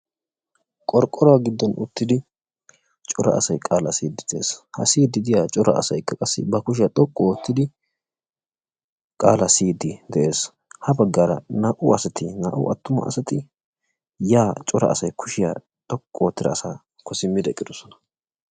qorqqoruwa giddon uttidi cora asay qaalaa siyiiddi de'es. ha siyiiddi diya cora asaykka qassi ba kushiya xoqqu oottidi qaalaa siyiiddi de'es. ha baggaara naa"u asati naa"u attuma asati cora asay kushiya xoqqu oottida asaakko simmidi eqqidosona.